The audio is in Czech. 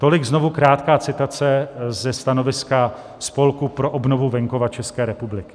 Tolik znovu krátká citace ze stanoviska Spolku pro obnovu venkova České republiky.